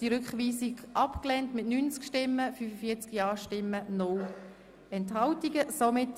Ich finde das abgebildete Muster immer noch sehr seltsam.